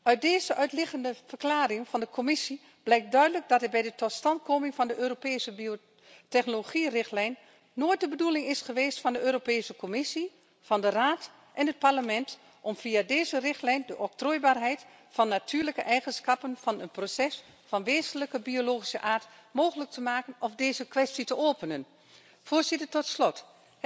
Uit deze uitleggende verklaring van de Commissie blijkt duidelijk dat het bij de totstandkoming van de Europese biotechnologierichtlijn nooit de bedoeling is geweest van de Europese Commissie, van de Raad en het Parlement om via deze richtlijn de octrooieerbaarheid van natuurlijke eigenschappen, van een proces van wezenlijk biologische aard mogelijk te maken of deze kwestie open te laten.